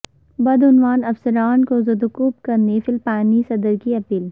بدعنوان افسران کو زدوکوب کرنے فلپائنی صدر کی اپیل